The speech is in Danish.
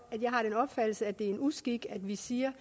jeg har den opfattelse at det er en uskik at vi siger